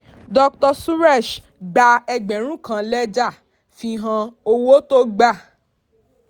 dr suresh gbà ẹgbẹ̀rún kan lẹ́jà fi hàn owó tó gba.